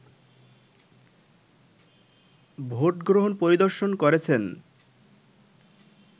vote গ্রহণ পরিদর্শন করেছেন